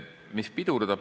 Mis pidurdab?